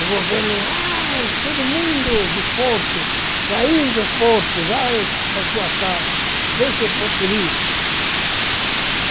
O governo, vai, todo mundo do porto, saiu do porto, vai para sua casa, deixa o porto livre.